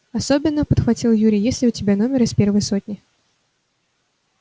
особенно подхватил юрий есть ли у тебя номер из первой сотни